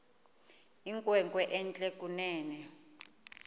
inkwenkwe entle kunene